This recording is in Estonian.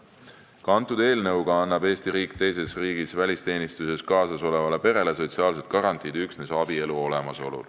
Ka selle eelnõuga annab Eesti riik teises riigis välisteenistuses kaasas olevale perele sotsiaalsed garantiid üksnes abielu korral.